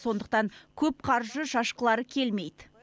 сондықтан көп қаржы шашқылары келмейді